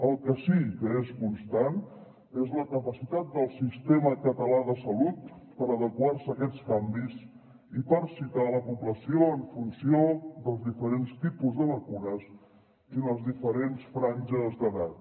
el que sí que és constant és la capacitat del sistema català de salut per adequar se a aquests canvis i per citar la població en funció dels diferents tipus de vacunes i les diferents franges d’edat